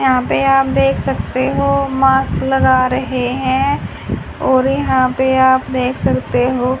यहां पे आप देख सकते हो मास्क लगा रहे हैं और यहां पे आप देख सकते हो--